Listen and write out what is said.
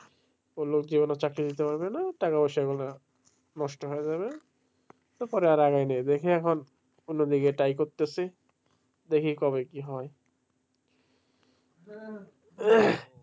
বললো যে চাকরি দিতে পারবে না নষ্ট হয়ে যাবে তো পরে আর এগোইনি দেখি এখন অন্যদিকে try করতেছি দেখি কবে কি হয়.